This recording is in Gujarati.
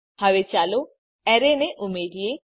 હવે ચાલો એરે ને ઉમેરીએ